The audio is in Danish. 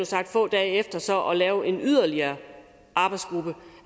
sagt få dage efter så at lave en yderligere arbejdsgruppe